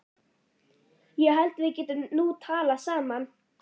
Ég held að við getum nú talað saman!